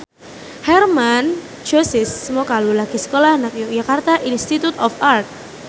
Hermann Josis Mokalu lagi sekolah nang Yogyakarta Institute of Art